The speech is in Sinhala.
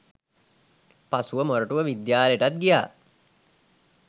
පසුව මොරටුව විද්‍යාලයටත් ගියා